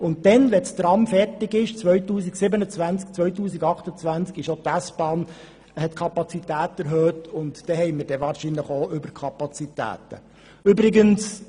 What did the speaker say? Wenn das Tram im Jahr 2027/2028 fertig ist, wird auch die S-Bahn die Kapazität erhöht haben, sodass wir wahrscheinlich Überkapazitäten haben werden.